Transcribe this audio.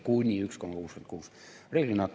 Kuni 1,66%!